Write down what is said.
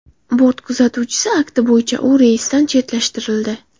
Bort kuzatuvchisi akti bo‘yicha u reysdan chetlashtirildi.